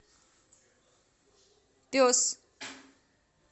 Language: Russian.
пес